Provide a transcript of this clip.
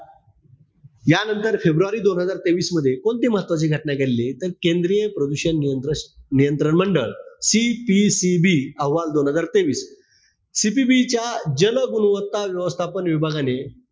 यांनतर फेब्रुवारी दोन हजार तेवीस मध्ये, कोणती महत्वाची घटना घडली आहे? केंद्रीय प्रदूषण नियंत्र नियंत्रण मंडळ, CPCB अहवाल दोन हजार तेवीस. CPB च्या जल गुणवत्ता व्यवस्थापन विभागाने,